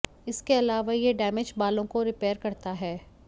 इसके अलावा यह डैमेज बालों को रिपेयर करता है